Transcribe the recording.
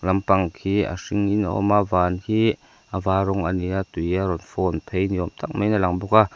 lampang khi a hringin a awm a van khi a var rawng a ni a tui a rawn fawn phei ni awm tak mai in a lang bawk a.